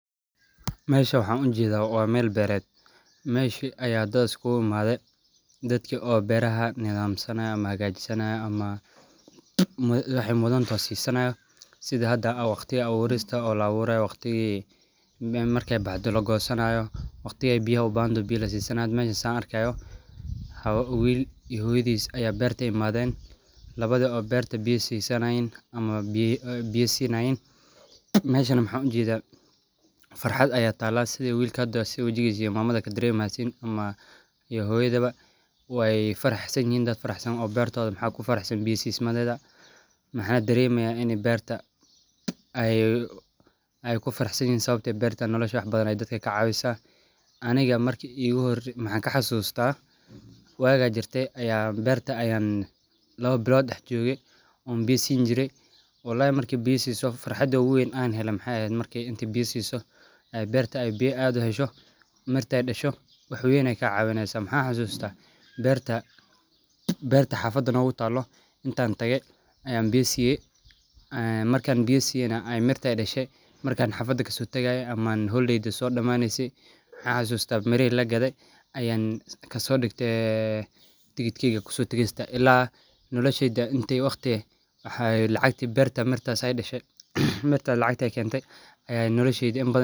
Meeshan waxaa ujeeda waa meel beered, meeshi ayaa dad iskuugu imaade, dadki oo beeraha nidamsanaayo ama hagaajisanaayan ama waxaay mudan tahay siisanaayo, sidha hada waqtiga abuurista, waqtiga la abuurayo waqtigii markaay baxdo lagoosanaayo, waqtigaay biya ubahan toho biya lasiisanaayo, sidha hada saan arkaayo, wiil iyo hooyadiis ayaa beerta imaaden, labada oo beerta biya siisanayiin, ama biya siinayiin, meeshana waxaan ujeeda farxad ayaa taala sidha wiilka wajigiisa iyo mamada kadareemaysiin, ama iyo hoyadaba, waay faraxsan yihiin dad faraxsan waye oo beertooda kufarxe biya siismadeeda, mxaan dareemaya in aay beerta kufaraxsan yihiin, Sababto ah beerta dadka wax badan ayeey kacaawisa, aniga markeygi iigu horeese waxaan kaxasuusta, waag ajirte ayaa beerta ayaan laba bilood dax jooge, oo aan biya siini jire, walahi farxada oogu weyn aan heele waxeey eheed markaad biya siiso, aay beerta biya aad uhesho, markaay dasho wax weyn ayeey kaa cawineysa, mxaan xasuusta beerta xafada noogu taalo intaan tage ayaan biya siiye, markaan biya siyena aay mirta dashe, markaan xafada kasoo tagaaye waxaan xasuusta mirihi lagade ayaan kasoo digte [ticket]ila nolosheyda inta waqti ah lacagta beerta aay dashe ayaan nolosheyda in badan.